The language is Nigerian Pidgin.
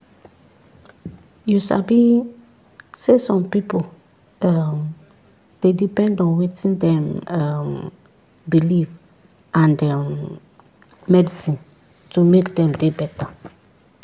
you sabi saysome pipu um dey depend on wetin dem um believe and um medicine to make dem dey beta.